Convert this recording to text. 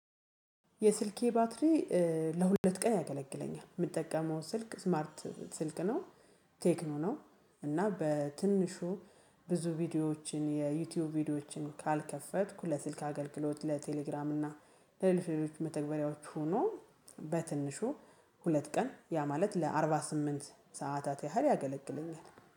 የስልኬ ባትሪ ለሁለት ቀን ያገለግለኛል። የምጠቀመው ስልክ ስማርት ስልክ ነው። ቴክኖ ነው እና በትንሹ ብዙ ቪዲዮዎችን የዩቲዩብ ቪዲዮዎችን ካልከፈትኩ ለስልክ አገልግሎት ለቴሌግራም እና ለሌሎች ሌሎች መተግበሪያዎች ሆኖ በትንሹ ሁለት ቀን ያ ማለት ለአርባ ስምንት ሰዓታት ያህል ያገለግለኛል